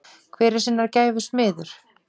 Hver er sinnar gæfu smiður?